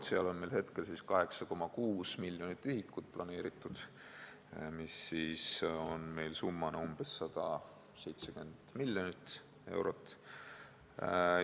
Selle jaoks on meil hetkel planeeritud 8,6 miljonit ühikut, mis on rahana umbes 170 miljonit eurot.